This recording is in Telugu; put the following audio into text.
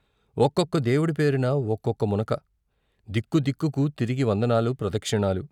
ఒక్కొక్క దేవుడి పేరున ఒక్కొక్క మునక దిక్కుదిక్కుకు తిరిగి వందనాలు, ప్రదక్షిణాలు.